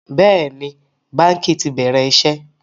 Bẹ́ẹ̀ni, báńkì ti bẹ̀rẹ̀ iṣẹ́